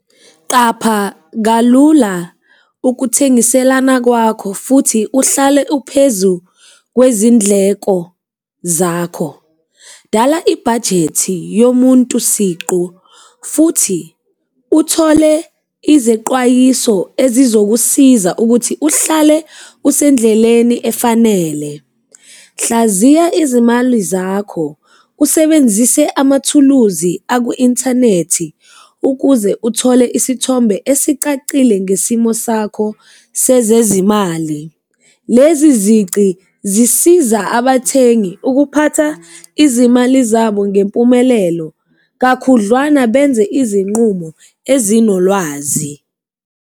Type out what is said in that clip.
Qapha kalula ukuthengiselana kwakho futhi uhlale uphezu kwezindleko zakho, dala ibhajethi yomuntu siqu futhi uthole izeqwayiso ezizokusiza ukuthi uhlale usendleleni efanele, hlaziya izimali zakho usebenzise amathuluzi aku-inthanethi ukuze uthole isithombe esicacile ngesimo sakho sezezimali. Lezi zici zisiza abathengi ukuphatha izimali zabo ngempumelelo kakhudlwana benze izinqumo ezinolwazi.